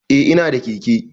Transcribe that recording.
Eh ina da keke.